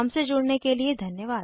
हमसे जुड़ने के लिए धन्यवाद